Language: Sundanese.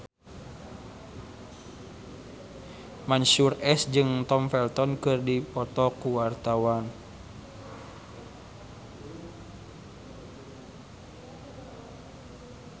Mansyur S jeung Tom Felton keur dipoto ku wartawan